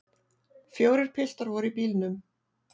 Fjórir piltar voru í bílnum.